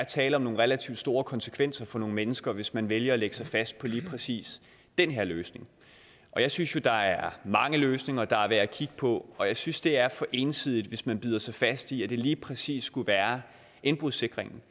tale om nogle relativt store konsekvenser for nogle mennesker hvis man vælger at lægge sig fast på lige præcis den her løsning jeg synes jo der er mange løsninger der er værd at kigge på og jeg synes det er for ensidigt hvis man bider sig fast i at det lige præcis skulle være indbrudssikringen